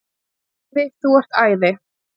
Afi þú ert æði.